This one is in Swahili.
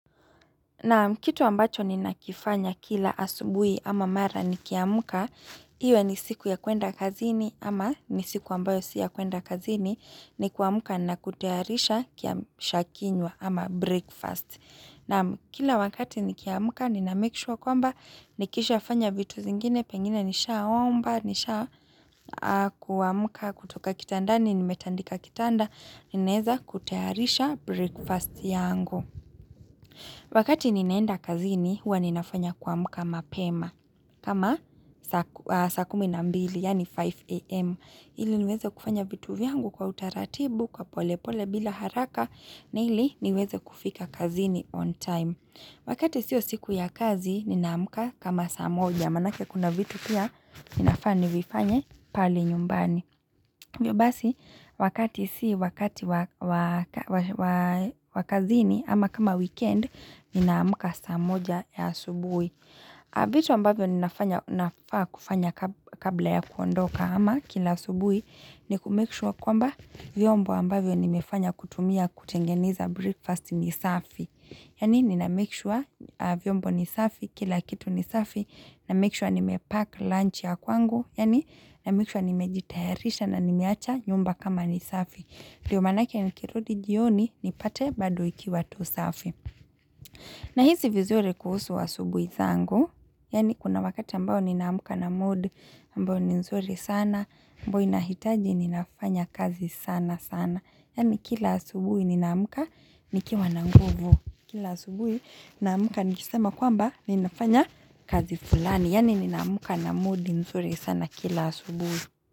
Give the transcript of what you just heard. Na'am, kitu ambacho ninakifanya kila asubuhi ama mara nikiamka, iwe ni siku ya kuenda kazini ama ni siku ambayo si ya kuenda kazini ni kuamka na kutayarisha kiamsha kinywa ama breakfast. Na'am, kila wakati nikiamka nina make sure kwamba nikishafanya vitu zingine pengine nishaomba nisha, kuamka kutoka kitandani nimetandika kitanda ninaweza kutayarisha breakfast yangu. Wakati ninaenda kazini huwa ninafanya kuamka mapema kama saa kumi na mbili yaani 5am, ili niweze kufanya vitu vyangu kwa utaratibu kwa pole pole bila haraka na ili niweze kufika kazini on time. Wakati siyo siku ya kazi ninaamka kama saa moja manake kuna vitu pia ninafaa nivifanye pale nyumbani. Hivyo basi, wakati si wakati wa kazini ama kama weekend, ninaamka saa moja ya asubuhi. Vitu ambavyo ninafanya, nafaa kufanya kabla ya kuondoka ama kila asubuhi, ni kumake sure kwamba vyombo ambavyo nimefanya kutumia kutengeneza breakfast ni safi. Yaani nina make sure vyombo ni safi, kila kitu ni safi, namake sure nime pack lunch ya kwangu, yaani namake sure nimejitayarisha na nimeacha nyumba kama ni safi. Ndiyo manake nikirudi jioni, nipate bado ikiwa tu safi. Nahisi vizuri kuhusu asubuhi zangu, yani kuna wakati ambao ninaamka na mood, ambayo ni nzuri sana, ambayo inahitaji ninafanya kazi sana sana. Yani kila asubuhi ninaamka nikiwa na nguvu. Kila asubuhi naamka nikisema kwamba ninafanya kazi fulani. Yani ninaamka na mood nzuri sana kila asubuhi.